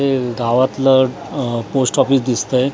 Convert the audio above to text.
हे गावातलं अ पोस्ट ऑफिस दिसतंय .